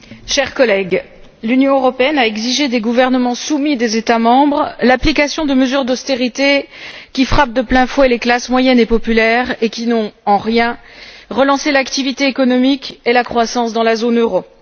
Madame la Présidente, chers collègues, l'Union européenne a exigé des gouvernements soumis des États membres l'application de mesures d'austérité qui frappent de plein fouet les classes moyennes et populaires et qui n'ont en rien relancé l'activité économique et la croissance dans la zone euro.